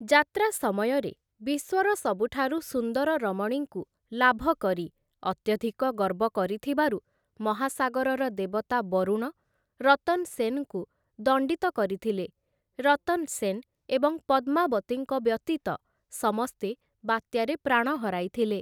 ଯାତ୍ରା ସମୟରେ, ବିଶ୍ୱର ସବୁଠାରୁ ସୁନ୍ଦର ରମଣୀଙ୍କୁ ଲାଭକରି ଅତ୍ୟଧିକ ଗର୍ବ କରିଥିବାରୁ ମହାସାଗରର ଦେବତା ବରୁଣ, ରତନ୍‌ ସେନ୍‌ଙ୍କୁ ଦଣ୍ଡିତ କରିଥିଲେ ରତନ୍‌ ସେନ୍‌ ଏବଂ ପଦ୍ମାବତୀଙ୍କ ବ୍ୟତୀତ ସମସ୍ତେ ବାତ୍ୟାରେ ପ୍ରାଣ ହରାଇଥିଲେ ।